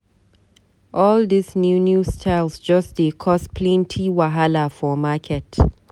All dis new new styles just dey cause plenty wahala for market.